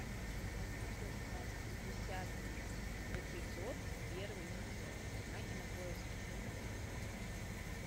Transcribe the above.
однажды в сказке десятый эпизод первый сезон на кинопоиске